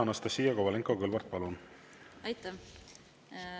Anastassia Kovalenko-Kõlvart, palun!